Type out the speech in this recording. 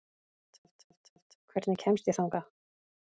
Gerald, hvernig kemst ég þangað?